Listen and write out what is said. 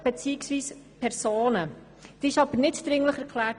Diese wurde aber nicht für dringlich erklärt.